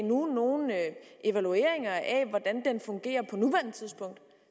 nogen evalueringer af hvordan den fungerer på nuværende tidspunkt